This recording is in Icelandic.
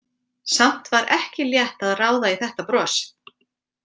Samt var ekki létt að ráða í þetta bros.